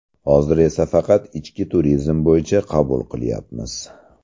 Hozir esa faqat ichki turizm bo‘yicha qabul qilyapmiz.